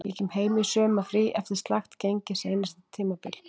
Ég kem heim í sumarfrí eftir slakt gengi seinasta tímabil.